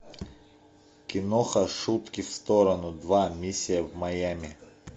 киноха шутки в сторону два миссия в майами